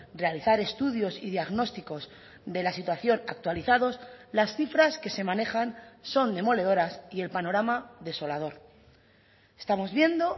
realizar estudios y diagnósticos de la situación actualizados las cifras que se manejan son demoledoras y el panorama desolador estamos viendo